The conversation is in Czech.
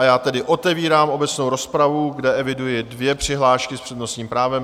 A já tedy otevírám obecnou rozpravu, kde eviduji dvě přihlášky s přednostním právem.